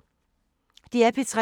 DR P3